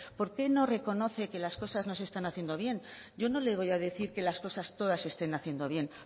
por qué no reconoce que las cosas no se están haciendo bien yo no le voy decir que las cosas todas se estén haciendo bien